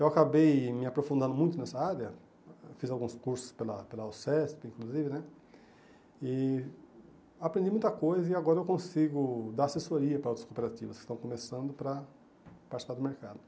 Eu acabei me aprofundando muito nessa área, fiz alguns cursos pela pela Alcest, inclusive né, e aprendi muita coisa e agora eu consigo dar assessoria para outras cooperativas que estão começando para participar do mercado.